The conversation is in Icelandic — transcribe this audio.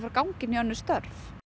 ganga inn í önnur störf